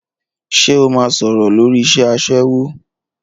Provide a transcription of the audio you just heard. Ṣé o máa sọ̀rọ̀ lórí iṣẹ́ aṣẹ́wó?